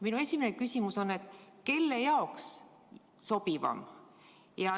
Minu esimene küsimus on, et kelle jaoks sobivaim.